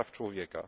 praw człowieka.